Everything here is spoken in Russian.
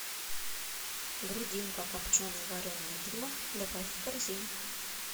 грудинка копчено вареная дымов добавь в корзину